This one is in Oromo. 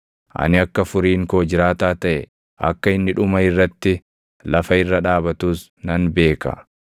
Ani akka furiin koo jiraataa taʼe, akka inni dhuma irratti lafa irra dhaabatus nan beeka.